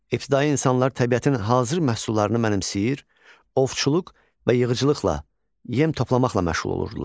İbtidai insanlar təbiətin hazır məhsullarını mənimsəyir, ovçuluq və yığıcılıqla yem toplamaqla məşğul olurdular.